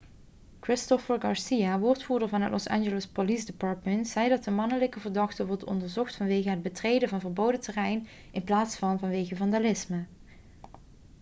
christopher garcia woordvoerder van het los angeles police department zei dat de mannelijke verdachte wordt onderzocht vanwege het betreden van verboden terrein in plaats van vanwege vandalisme